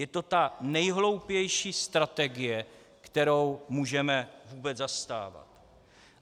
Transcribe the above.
Je to ta nejhloupější strategie, kterou můžeme vůbec zastávat.